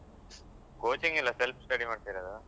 Coaching ಇಲ್ಲ self-study ಮಾಡ್ತಿರೋದು.